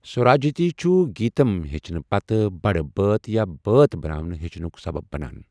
سوراجتی چُھ گیٖتم ہیٚچھنہٕ پتہٕ بٔڑِ بٲتھ یا بٲتھ بَناوٕنہِ ہیٚچھنُک سَبب بَنان۔